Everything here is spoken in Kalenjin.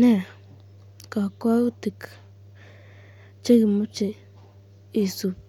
Nee kakwautik chekimache isubi